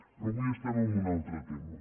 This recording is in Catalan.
però avui estem en un altre tema